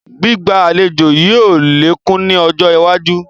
Gbígba àlejò yìí ó lékún ni ọjọ́ iwájú